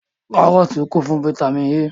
Kárọ́tì kún fún fataímìn A.